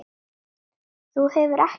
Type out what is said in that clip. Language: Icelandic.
Þú hefur ekkert breyst.